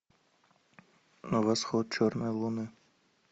восход черной луны